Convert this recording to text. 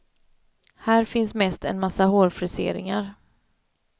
Här finns mest en massa hårfriseringar.